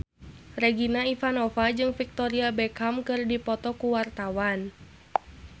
Regina Ivanova jeung Victoria Beckham keur dipoto ku wartawan